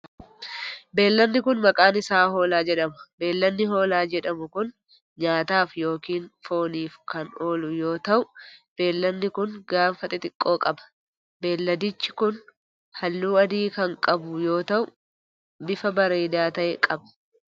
Beeyiladni kun, maqaan isaa hoolaa jedhama. Beeyiladni hoolaa jedhamu kun, nyaataaf yokin fooniif kan oolu yoo ta'u, beeyiladni kun gaafa xixiqqoo qba. Beeyiladichi kun, haalluu adii kan qabu yoo ta'u, bifa bareedaa ta'e qaba.